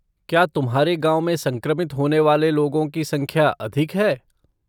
क्या तुम्हारे गाँव में संक्रमित होने वाले लोगों की संख्या अधिक है?